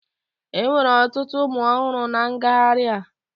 Enwere ọtụtụ ụmụ ọhụrụ na ngagharị a